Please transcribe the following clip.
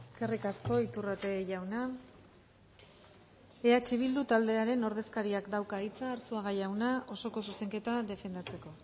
eskerrik asko iturrate jauna eh bildu taldearen ordezkariak dauka hitza arzuaga jauna oso zuzenketa defendatzeko